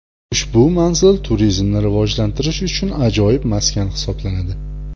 Ushbu manzil turizmni rivojlantirish uchun ajoyib maskan hisoblanadi.